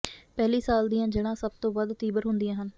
ਪਹਿਲੀ ਸਾਲ ਦੀਆਂ ਜੜ੍ਹਾਂ ਸਭ ਤੋਂ ਵੱਧ ਤੀਬਰ ਹੁੰਦੀਆਂ ਹਨ